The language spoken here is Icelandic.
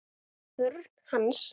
Börn hans.